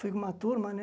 Fui com uma turma, né?